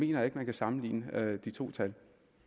jeg ikke man kan sammenligne de to tal